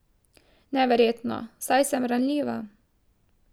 Neverjetno, saj sem ranljiva.